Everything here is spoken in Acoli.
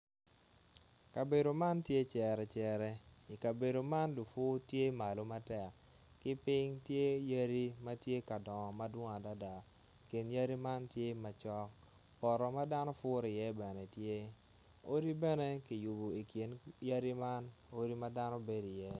Kabedo man tye cerecere i kabedo man tye lupur madwong matek ki piny tye yadi ma tye ka dongo mapol adada. Kin yadi man tye macok poto ma dano puro iye bene tye odi bene ma dano bedo iye bene tye.